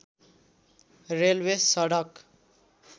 railway सडक